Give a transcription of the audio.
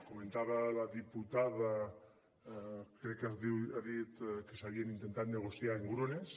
comentava la diputada crec que ha dit que s’havien intentat negociar engrunes